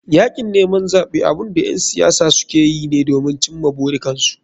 Yakin neman zaɓe abunda ƴan siyasa sukeyi ne domin cimma burikansu.